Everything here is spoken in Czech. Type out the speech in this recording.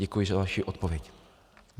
Děkuji za vaši odpověď.